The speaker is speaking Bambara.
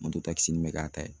Mototakisni bɛ k'a ta ye